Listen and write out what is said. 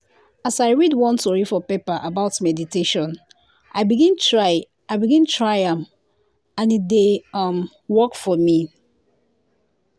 as i read one tori for paper about meditation i begin try i begin try am and e dey um work for me.